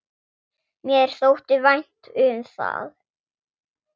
Mér þótti vænt um það.